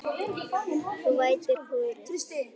Þú vætir púðrið.